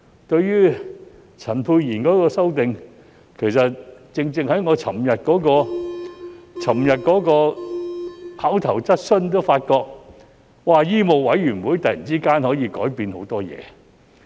對於陳沛然議員的修正案，其實正正在我昨天提出口頭質詢時也發覺，醫務委員會突然間可以改變很多事。